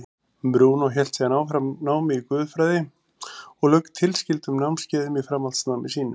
Brúnó hélt síðan áfram námi í guðfræði og lauk tilskildum námskeiðum í framhaldsnámi sínu.